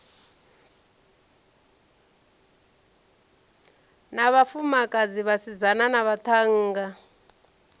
na vhafumakadzi vhasidzana na vhaṱhannga